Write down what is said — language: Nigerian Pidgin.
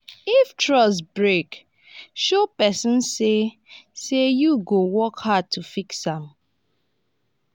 if trust break show pesin say say yu go work hard to fix am.